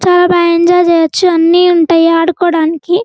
చాలా బాగా ఎంజాయ్ చెయ్యొచ్చు అన్ని ఉంటాయి ఆడుకోవడానికి.